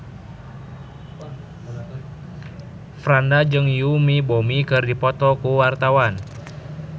Franda jeung Yoon Bomi keur dipoto ku wartawan